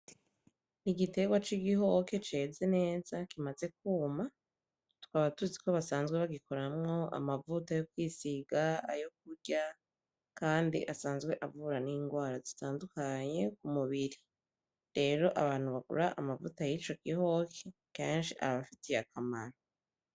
Igiterwa c'igihoke ceze neza kimaze kwuma, tukaba tuzi ko basanzwe bagikoramwo amavuta yo kwisiga, aho kurya, kandi asanzwe avura n'ingwara zitandukanye kumubiri. Rero abantu bagura amavuta y'ico gihoke kenshi abafitiye akamaro.